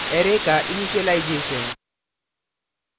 array का initialisation